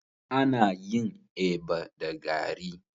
Ana yin eba da garri.